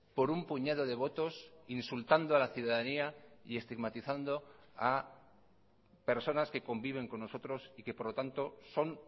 por un puñado de votos insultando a la ciudadanía y estigmatizando a personas que conviven con nosotros y que por lo tanto son